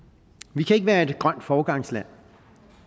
vi kan ikke være et grønt foregangsland